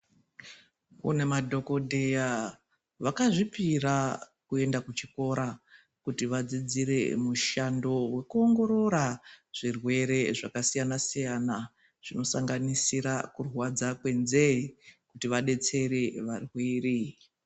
Kune madhokodheya vakazvipira kuenda kuchikora kuti vadzidzire mushando wekuongorora zvirwere zvakasiyana -siyana zvinosanganisira kurwadza kwenzee kuti vadetsere varwere.